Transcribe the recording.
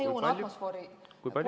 Kui palju?